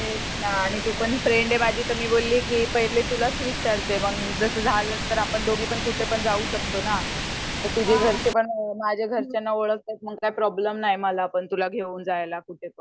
तेच ना आणि तू पण फ्रेंड ये माझी तर मी बोलली की पहिले तुलाच विचारते मंग जस झाला तर आपण दोघे पण कुठे जाऊ शकतो ना. तुझे घरचे पण माझे घरच्यांना ओलखतात मग काय प्रोब्लेम नाय मला पण तुला घेऊन जायला कुठे पण .